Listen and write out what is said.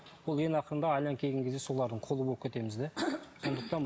ол ең ақырында айналып келген кезде солардың құлы болып кетеміз де